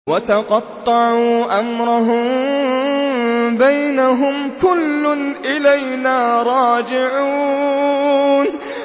وَتَقَطَّعُوا أَمْرَهُم بَيْنَهُمْ ۖ كُلٌّ إِلَيْنَا رَاجِعُونَ